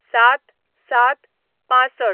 ०७/०७/६५